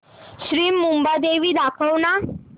श्री मुंबादेवी दाखव ना